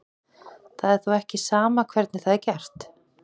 Það er þó ekki sama hvernig það er gert.